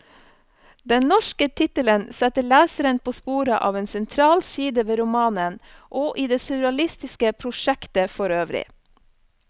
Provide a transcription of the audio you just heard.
Den norske tittelen setter leseren på sporet av en sentral side ved romanen, og i det surrealistiske prosjektet forøvrig.